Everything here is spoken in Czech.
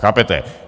Chápete?